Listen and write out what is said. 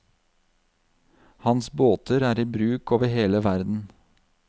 Hans båter er i bruk over hele verden.